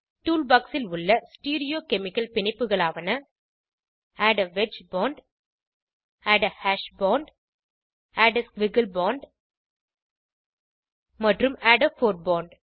tool box ல் உள்ள stereochemical பிணைப்புகளாவன add a wedge bond add a hash bond add a squiggle bond மற்றும் add a bold bond